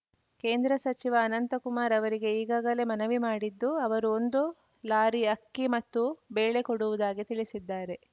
ಕೇಂದ್ರ ಸಚಿವ ಅನಂತಕುಮಾರ್‌ ಅವರಿಗೆ ಈಗಾಗಲೇ ಮನವಿ ಮಾಡಿದ್ದು ಅವರು ಒಂದು ಲಾರಿ ಅಕ್ಕಿ ಮತ್ತು ಬೇಳೆ ಕೊಡುವುದಾಗಿ ತಿಳಿಸಿದ್ದಾರೆ